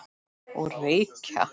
Og reykja.